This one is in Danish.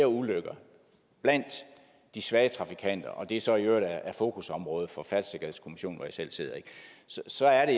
ulykker blandt de svage trafikanter og det så i øvrigt er fokusområdet for færdselssikkerhedskommissionen som jeg selv sidder i så er